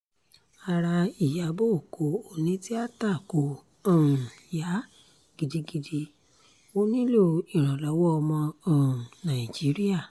ara ìyàbọ̀ ọkọ̀ onítìata kò um yá gidigidi ó nílò ìrànlọ́wọ́ ọmọ um nàìjíríà